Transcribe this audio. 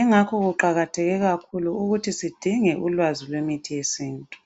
Ingakho kuqakathekile kakhulu ukuthi sidinge ulwazi lwemithi yesintu.